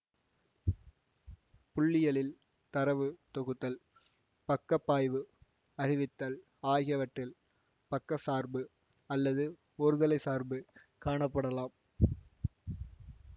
புள்ளியியலில் தரவு தொகுத்தல் பக்கப்பாய்வு அறிவித்தல் ஆகியவற்றில் பக்கசார்பு அல்லது ஒருதலைச் சார்பு காணப்படலாம்